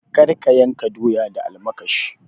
Kar ka yanka doya da almakashi.